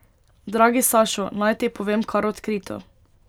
Dragi Sašo, naj ti povem kar odkrito.